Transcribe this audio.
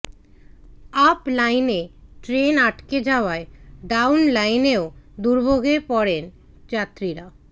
up লাইনে train আটকে যাওয়ায় ডাউন লাইনেও দুর্ভোগের পড়েন যাত্রীরা